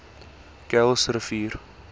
kuilsrivier